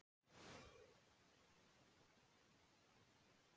Hversu oft getur kona haft blæðingar þó að hún sé ófrísk?